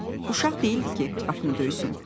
Uşaq deyildi ki, qapını döysün.